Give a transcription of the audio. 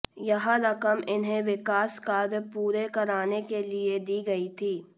यह रकम इन्हें विकास कार्य पूरे कराने के लिए दी गई थी